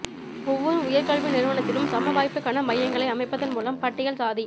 ஒவ்வொரு உயர் கல்வி நிறுவனத்திலும் சம வாய்ப்புக்கான மையங்களை அமைப்பதன் மூலம் பட்டியல் சாதி